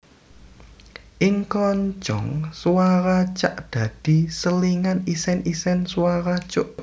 Ing kroncong swara cak dadi selingan isèn isèn swara cuk